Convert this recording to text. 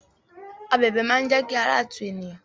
Abẹ̀bẹ̀ máa n jẹ kí ara tu eniyan.